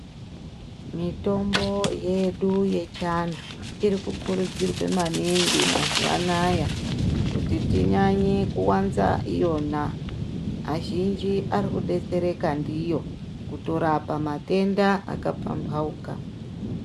Mitombo yedu yechiantu irikukurudzirwe maningi mazuwanaya kuti tinyanye kuwanza iyona azhinji arikudetsereka ndiyo kutorapa matenda akapambauka.